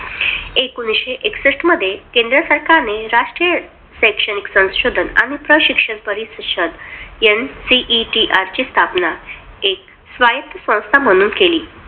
एकोणविशे एकसष्ट मध्ये, केंद्र सरकारने राष्ट्रीय शैक्षणिक संशोधन आणि प्रशिक्षण परिषद NCERT ची स्थापना एक स्वायत्त संस्था म्हणून केली.